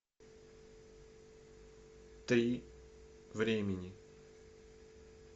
три времени